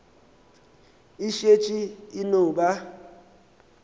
e šetše e no ba